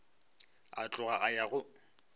a tloga a ya go